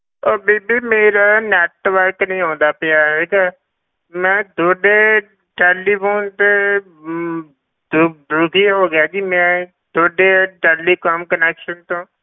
ਉਹ ਬੀਬੀ ਮੇਰਾ network ਨੀ ਆਉਂਦਾ ਪਿਆ ਹੈਗਾ, ਮੈਂ ਤੁਹਾਡੇ telephone ਤੇ ਅਮ ਦੁ~ ਦੁਖੀ ਹੋ ਗਿਆ ਜੀ ਮੈਂ ਤੁਹਾਡੇ telecom connection ਤੋਂ,